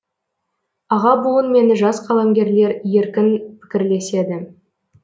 аға буын мен жас қаламгерлер еркін пікірлеседі